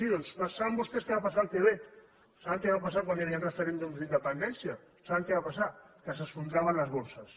sí doncs saben vostès què va passar al quebec saben què va passar quan hi havia referèndums d’independència saben què va passar que s’esfondraven les borses